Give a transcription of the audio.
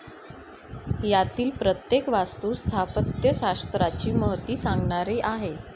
यातील प्रत्येक वास्तु स्थापत्यशास्त्राची महती सांगणारी आहे.